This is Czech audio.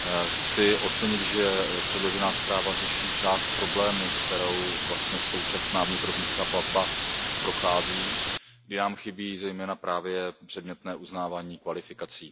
Chci ocenit, že předložená zpráva řeší část problému, kterou vlastně současná vnitrozemská plavba prochází, kde nám chybí zejména právě předmětné uznávání kvalifikací.